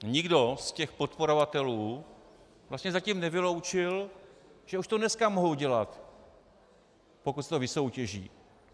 Nikdo z těch podporovatelů vlastně zatím nevyloučil, že už to dneska mohou dělat, pokud se to vysoutěží.